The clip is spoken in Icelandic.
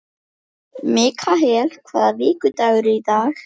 Mikael, hvaða vikudagur er í dag?